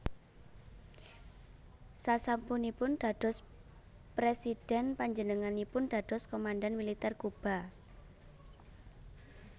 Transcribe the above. Sasampunipun dados Présidhèn panjenenganipun dados komandhan Militer Kuba